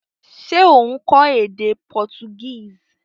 Se o n kó édé Portuguese?